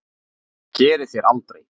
Það gerið þér aldrei.